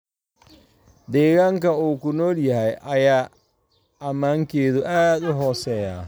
deegaanka uu ku nool yahay, ayaa ammaankeedu aad u hooseeyaa.